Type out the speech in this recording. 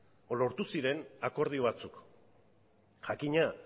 edo lortu ziren akordio batzuk jakina